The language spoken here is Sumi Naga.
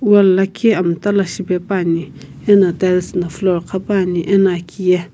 wall lakhi mta la shipepuani ena tiles na floor qhapuani ena aki ye.